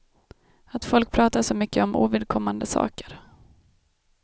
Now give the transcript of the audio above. Att folk pratar så mycket om ovidkommande saker.